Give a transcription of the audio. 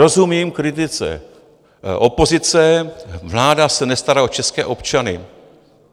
Rozumím kritice opozice - vláda se nestará o české občany.